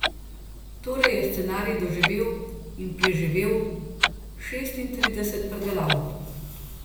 Torej je scenarij doživel in preživel šestintrideset predelav.